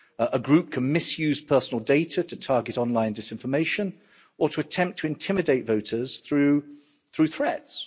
A group can misuse personal data to target online disinformation or to attempt to intimidate voters through threats.